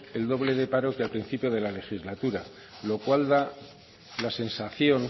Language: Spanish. el doble de paro que al principio de la legislatura lo cual da la sensación